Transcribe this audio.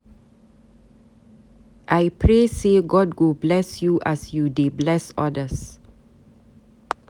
I pray sey God go bless you as you dey bless odas.